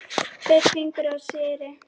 Tveir fingur á stýri.